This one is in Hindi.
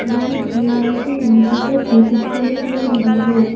यहां की लाइटिंग भी बहुत ही खूबसूरत लग रही है ।